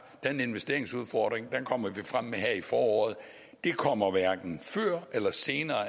at den investeringsudfordring kommer vi frem med her i foråret det kommer hverken før eller senere